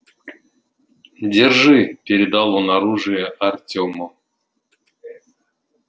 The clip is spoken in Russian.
держи передал он оружие артёму